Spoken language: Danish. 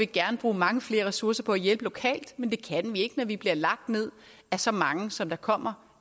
gerne bruge mange flere ressourcer på at hjælpe lokalt men det kan vi ikke når vi bliver lagt ned af så mange som kommer